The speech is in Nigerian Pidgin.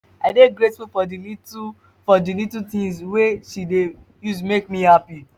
i dey grateful for di little for di little tins wey she dey use make me happy.